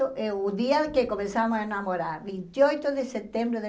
O dia em que começamos a namorar, vinte e oito de setembro de